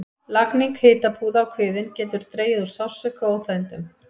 Lagning hitapúða á kviðinn getur dregið úr sársauka og óþægindum.